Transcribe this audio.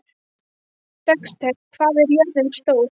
Dexter, hvað er jörðin stór?